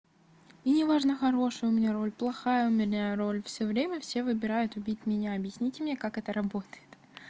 и неважно хорошая у меня роль плохая у меня роль всё время все выбирают убить меня объясните мне как это работает